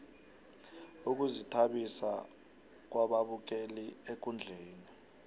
ukuzithabisa kwababukeli ekundleni